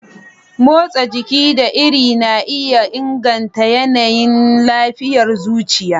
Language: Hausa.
Motsa jiki da iri na iya inganta yanayin lafiyar zuciya